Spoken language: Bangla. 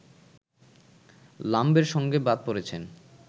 লাম্বের সঙ্গে বাদ পড়েছেন